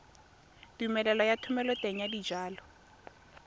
tumelelo ya thomeloteng ya dijalo